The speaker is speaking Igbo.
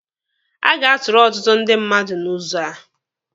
A ga-atụrụ ọtụtụ ndị mmadụ n'ụzọ a.